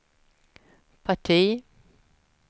parti